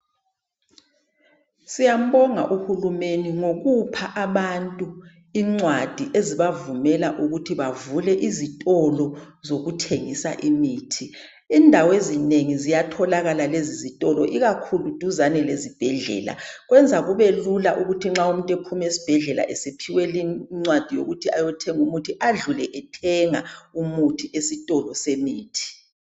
Siyambonga uhulumende ngokupha abantu incwadi ezibavumela ukuthi bavule izitolo zokuthengisa imithi. Indawezinengi ziyatholakala lezi zitolo ikakhulu duzane lezibhedlela kwenza kubelula ukuthi nxa umuntu ephuma esibhedlela esephiwe lincwadi yokuthi ayothenga umuthi adlule ethenga umuthi esitolo semithi.